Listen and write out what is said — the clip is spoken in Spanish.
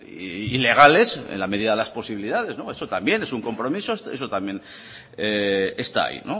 y legales en la medida de las posibilidades eso también es un compromiso eso también está ahí y